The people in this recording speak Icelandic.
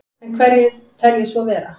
En hverjir telji svo vera?